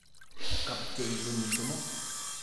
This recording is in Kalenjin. Kapchei konyil somok.